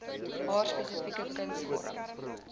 haar spesifieke kunsvorm